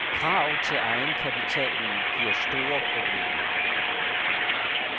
Krav til egenkapitalen giver store problemer.